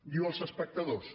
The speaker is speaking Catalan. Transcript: diu els espectadors